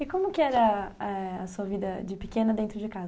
E como que era, ãh, a sua vida de pequena dentro de casa?